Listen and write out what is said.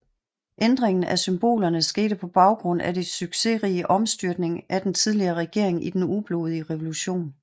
Ændringen af symbolerne skete på baggrund af det succesrige omstyrtning af den tidligere regering i den ublodige revolution